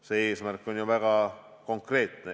See eesmärk on ju väga konkreetne.